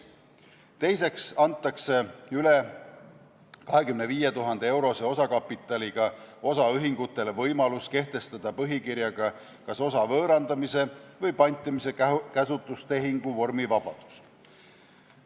Teiseks antakse üle 25 000 euro suuruse osakapitaliga osaühingutele võimalus kehtestada põhikirjaga kas osa võõrandamise või pantimise käsutustehingu vormivabadus.